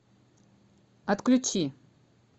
отключи